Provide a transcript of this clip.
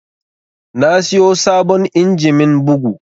Na siyo sabon injimin bugu